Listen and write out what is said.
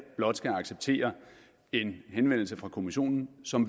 blot skal acceptere en henvendelse fra kommissionen som